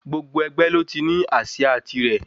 Gbogbo ẹgbẹ́ ló ní ásíà tirẹ̀.